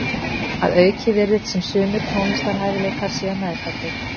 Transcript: Að auki virðist sem sumir tónlistarhæfileikar séu meðfæddir.